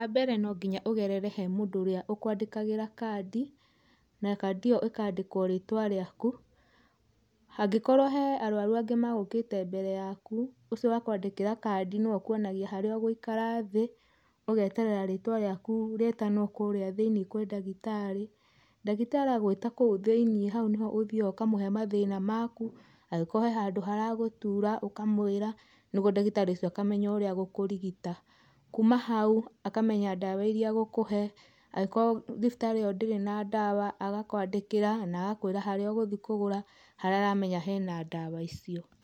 Wambere no nginya ũgerere he mũndũ ũria ũkwandĩkagĩra kandi, na kandi ĩyo ĩkandĩkwo ritwa rĩaku, hangĩkorwo he arwaru angĩ magũkĩte mbere yaku ũcio wakwandĩkĩra kandi nĩwe ũkwonagia harĩa ũgũikara thĩ, ũgeterera rĩtwa rĩaku rĩtanwo kũrĩa thĩ-iniĩ kwĩ ndagĩtarĩ, ndagĩtarĩ agwĩta kũu thĩ-iniĩ hau nĩho ũthiaga ũkamũhe mathĩna maku, angĩkorwo he handũ haragũtura ũkamwira, nĩguo ndagĩtari ũcio akamenya ũria egũkũrigita, kuuma hau akamenya ndawa iria egũkũhe, angĩkorwo thibitarĩ ĩyo ndĩrĩ na ndawa agakwandĩkĩra na agakwĩra harĩa ũgũthiĩ kũgũra, haria aramenya hena ndawa icio.